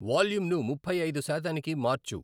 వాల్యూంను ముప్పై ఐదు శాతానికి మార్చు